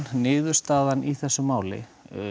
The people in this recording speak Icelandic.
niðurstaðan í þessu máli